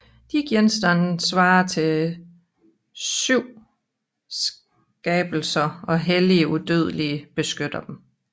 De genstande svarer til syvmskabelser og hellige udødelige beskytter dem